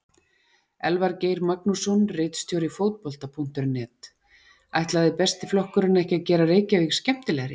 Elvar Geir Magnússon, ritstjóri Fótbolta.net: Ætlaði Besti flokkurinn ekki að gera Reykjavík skemmtilegri?